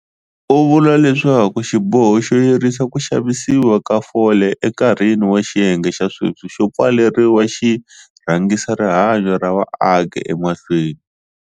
U vula leswaku xiboho xo yirisa ku xavisiwa ka fole enkarhini wa xiyenge xa sweswi xo pfaleriwa xi rhangisa rihanyo ra vaaki emahlweni.